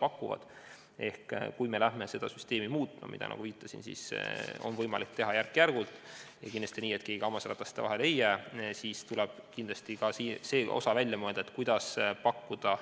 Ehk teisisõnu, kui me hakkame seda süsteemi muutma – mida, nagu ma viitasin, on võimalik teha järk-järgult ja kindlasti nii, et keegi hammasrataste vahele ei jääks –, siis tuleb kindlasti välja mõelda ka see osa, kuidas pakkuda